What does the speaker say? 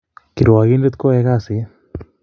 karwokindet koyae kasit